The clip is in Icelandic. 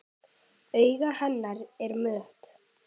Augu hennar eru mött.